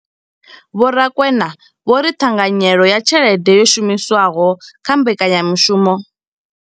Vho Rakwena vho ri ṱhanganyelo ya tshelede yo shumiswaho kha mbekanyamushumo.